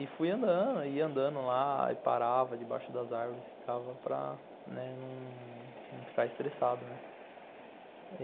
E fui andando, andando lá e parava debaixo das árvores, ficava para não ficar estressado, né.